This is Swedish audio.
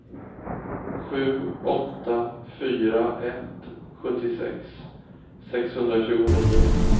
sju åtta fyra ett sjuttiosex sexhundratjugonio